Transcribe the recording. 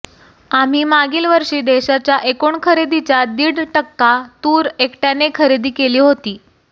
आम्ही मागील वर्षी देशाच्या एकूण खरेदीच्या दीड टक्का तूर एकट्याने खरेदी केली होती